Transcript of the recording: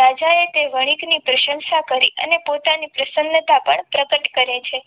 રાજાએ તે વણિકથી પ્રશંસા કરી અને અને પોતાની પ્રસન્નતા પણ પ્રગટ કરે છે.